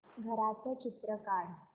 घराचं चित्र काढ